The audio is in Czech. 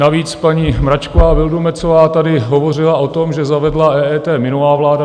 Navíc paní Mračková Vildumetzová tady hovořila o tom, že zavedla EET minulá vláda.